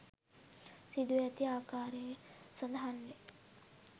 සිදුවී ඇති ආකාරය සඳහන් වේ